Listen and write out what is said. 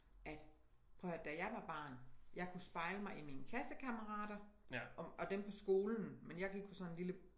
At prøv at her da jeg var barn jeg kunne spejle mig i mine klassekammerater og dem på skolen men jeg gik på sådan en lille